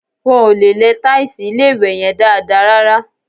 Wọ́n ò lẹ tàìsì ilé-ìwẹ̀ yẹn dáadáa rárá